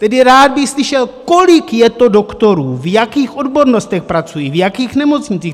Tedy rád bych slyšel, kolik je to doktorů, v jakých odbornostech pracují, v jakých nemocnicích.